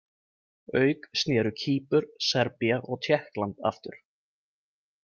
Auk snéru Kýpur, Serbía og Tékkland aftur.